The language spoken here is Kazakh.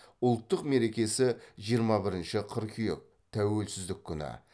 ұлттық мерекесі жиырма бірінші қыркүйек тәуелсіздік күні